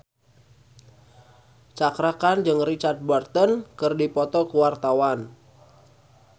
Cakra Khan jeung Richard Burton keur dipoto ku wartawan